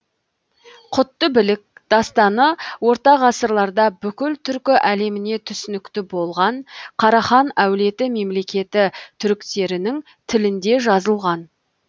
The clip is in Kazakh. құтты білік дастаны орта ғасырларда бүкіл түркі әлеміне түсінікті болған карахан әулеті мемлекеті түріктерінің тілінде жазылған